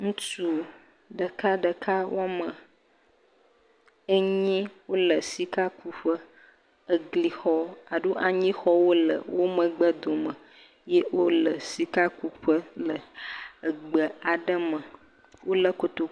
Ŋutsu ɖekaɖeka woame enyi wole sikakuƒe, eglixɔ alo anyixɔwo le wo megbe dome eye wole sikakuƒe le egbe aɖe me, wolé kotoku...